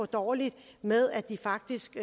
dårligt med at de faktisk